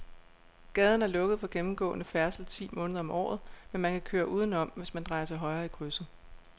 Gaden er lukket for gennemgående færdsel ti måneder om året, men man kan køre udenom, hvis man drejer til højre i krydset.